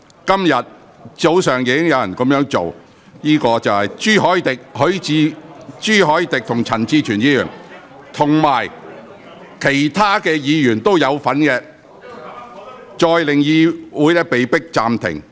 今天早上又有議員這樣做，分別是朱凱廸議員和陳志全議員，亦有其他議員參與，令會議再次被迫暫停。